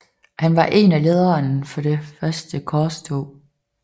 Han var en af lederne for det første korstog